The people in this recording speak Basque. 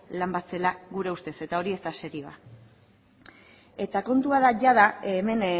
lan bat zela gure ustez eta hori ez da serioa eta kontua da jada hemen